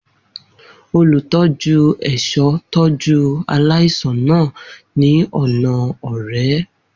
Olutọju ẹṣọ tọju alaisan naa ni ọna ọrẹ.